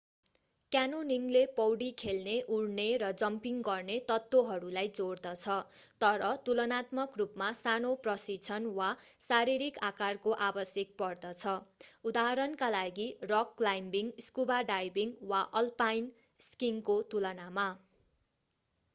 क्यान्योनिङले पौडी खेल्ने उड्ने र जम्पिङ गर्ने तत्त्वहरूलाई जोड्दछ - तर तुलनात्मक रूपमा सानो प्रशिक्षण वा शारीरिक आकारको आवश्यक पर्दछ उदाहरणका लागि रक क्लाइम्बिङ स्कुबा डाइभिङ वा अल्पाइन स्किइङको तुलनामा।